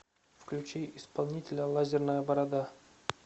включи исполнителя лазерная борода